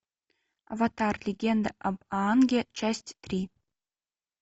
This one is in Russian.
аватар легенда об аанге часть три